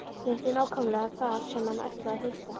Hitti nákvæmlega þar sem hann ætlaði að hitta.